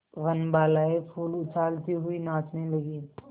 वनबालाएँ फूल उछालती हुई नाचने लगी